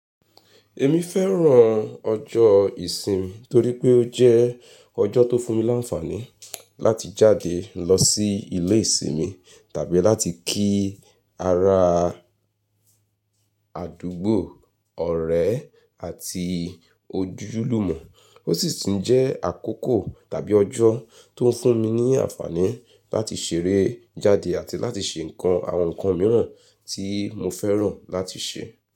Èmi fẹ́ràn ọjọ́ ìsinmi torí pé ó jẹ́ ọjọ́ tó fún mi láǹfààní láti jáde lọ sí ilé ìsinmi tàbí láti kí ara àdúgbò, ọ̀rẹ́ àti ojúlùmọ̀. Ó sì tún jẹ́ àkókò tàbí ọjọ́ tó ń fún mi ní àǹfààní láti ṣeré jáde àti láti ṣe nǹkan àwọn ǹkan mìíràn tí mo fẹ́ràn láti ṣe.